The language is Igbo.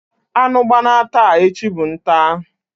Anu gbana taa, echi bu ntaa.